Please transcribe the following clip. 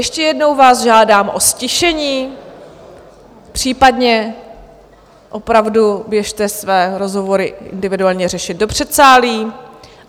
Ještě jednou vás žádám o ztišení, případně opravdu běžte své rozhovory individuálně řešit do předsálí.